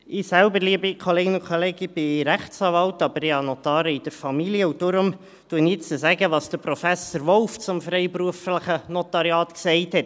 Ich selbst, liebe Kolleginnen und Kollegen, bin Rechtsanwalt, habe aber Notare in der Familie, und deshalb sage ich jetzt, was Professor Wolf zum freiberuflichen Notariat gesagt hat;